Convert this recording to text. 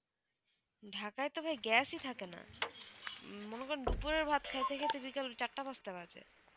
ঢাকায় তো ভাই gas ই থাকে না মনে করেন দুপুরের ভাত খাইতে খাইতে বিকাল চারটে পাঁচটা বাজে